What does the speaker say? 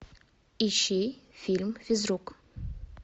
ищи фильм физрук